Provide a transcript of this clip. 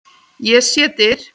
Ég sé dyr.